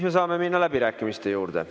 Me saame minna läbirääkimiste juurde.